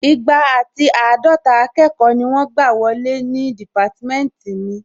Igba àti àádọta akẹ́kọ̀ọ́ ni wọ́n gbà wọlé ní dìpátímẹ́ntì mi